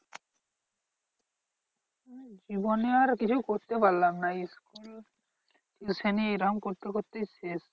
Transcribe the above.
জীবনে আর কিছুই করতে পারলাম না school শ্রেণী এরম করতে করতেই শেষ।